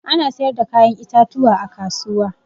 Ana sayar da kayan itatuwa a kasuwa.